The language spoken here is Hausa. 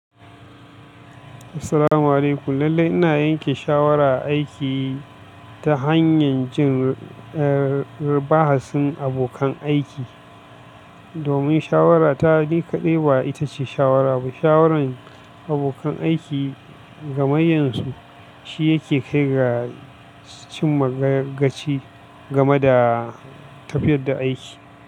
Assalamu alaikum. Lallai ina yanke shawara aiki ta hanyar jin, eh, bahasin abokan aiki. Domin shawara ta ni kaɗai ba ita ce shawara ba. Shawaran abokan aiki ga mayan su shi yake kai ga cimma gaci game da tafiyar da aiki.